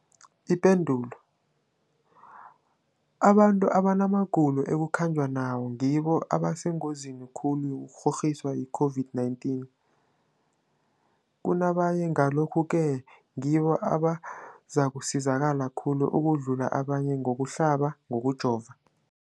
Ipendulo, abantu abanamagulo ekukhanjwa nawo ngibo abasengozini khulu yokukghokghiswa yi-COVID-19 kunabanye, Ngalokhu-ke ngibo abazakusizakala khulu ukudlula abanye ngokuhlaba, ngokujova.